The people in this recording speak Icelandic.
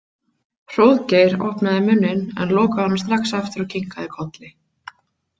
Hróðgeir opnaði munninn en lokaði honum strax aftur og kinkaði kolli.